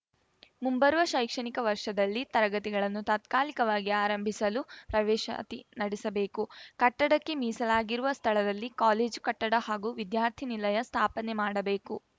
ಮುಂಬರುವ ಶೈಕ್ಷಣಿಕ ವರ್ಷದಲ್ಲಿ ತರಗತಿಗಳನ್ನು ತಾತ್ಕಾಲಿಕವಾಗಿ ಆರಂಭಿಸಲು ಪ್ರವೇಶಾತಿ ನಡೆಸಬೇಕು ಕಟ್ಟಡಕ್ಕೆ ಮೀಸಲಾಗಿರುವ ಸ್ಥಳದಲ್ಲಿ ಕಾಲೇಜು ಕಟ್ಟಡ ಹಾಗೂ ವಿದ್ಯಾರ್ಥಿನಿಲಯ ಸ್ಥಾಪನೆ ಮಾಡಬೇಕು